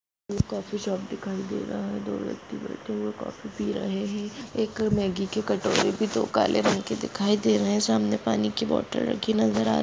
यएक coffee shop दिखाई दे रहा हैं। दो व्यक्ति बैठे हुए कॉफी पी रहे हैं। एक मैग्गी की कटोरी भी दो काले रंग की दिखाई दे रही हैं। सामने पानी की बोतल रखी नजर आ--